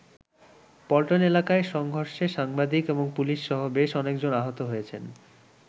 পল্টন এলাকায় সংঘর্ষে সাংবাদিক এবং পুলিশসহ বেশ অনেকজন আহত হয়েছেন।